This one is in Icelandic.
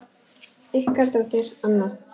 Ykkar dóttir, Anna.